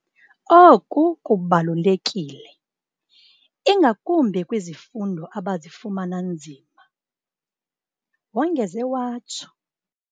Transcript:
" Oku kubalulekile, ingakumbi kwizifundo aba zifumana zinzima," wongeze watsho.